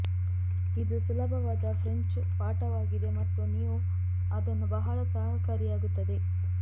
ಇದು ಸುಲಭವಾದ ಫ್ರೆಂಚ್ ಪಾಠವಾಗಿದೆ ಮತ್ತು ನೀವು ಅದನ್ನು ಬಹಳ ಸಹಕಾರಿಯಾಗುತ್ತದೆ